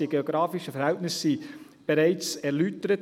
Die geografischen Verhältnisse wurden bereits erläutert.